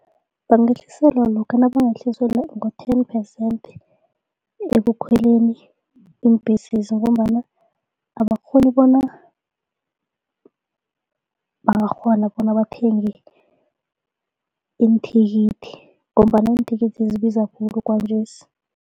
Bangehliselwa lokha nabangehliselwa ngo-ten percent ebakhweleni iimbhesezi ngombana abakghoni bona bangakghona bona bathenge iinthikithi ngombana iinthikithi zibiza khulu kwanjesi.